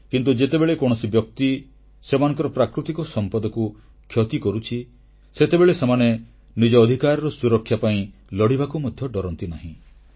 କିନ୍ତୁ ଯେତେବେଳେ କୌଣସି ବ୍ୟକ୍ତି ସେମାନଙ୍କର ପ୍ରାକୃତିକ ସମ୍ପଦକୁ କ୍ଷତି କରୁଛି ସେତେବେଳେ ସେମାନେ ନିଜ ଅଧିକାରର ସୁରକ୍ଷା ପାଇଁ ଲଢ଼ିବାକୁ ମଧ୍ୟ ଡରନ୍ତି ନାହିଁ